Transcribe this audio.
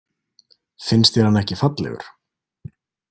Finnst þér hann ekki fallegur?